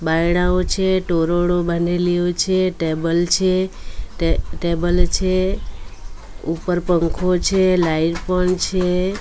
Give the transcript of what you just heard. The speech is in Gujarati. બાયડાઓ છે ટોરોડો બનેલી યો છે ટેબલ છે ટે ટેબલ છે ઉપર પંખો છે લાઈટ પણ છે.